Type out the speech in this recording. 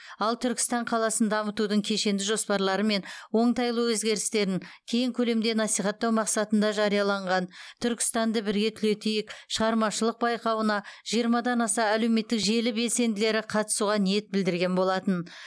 ал түркістан қаласын дамытудың кешенді жоспарлары мен оңтайлы өзгерістерін кең көлемде насихаттау мақсатында жарияланған түркістанды бірге түлетейік шығармашылық байқауына жиырмадан аса әлеуметтік желі белсенділері қатысуға ниет білдірген болатын